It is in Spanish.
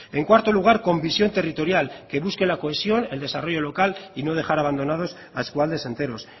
en cuarto lugar con visión territorial que busque la cohesión el desarrollo local y no dejar abandonaos a eskualdes enteros